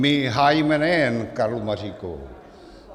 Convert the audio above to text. My hájíme nejen Karlu Maříkovou.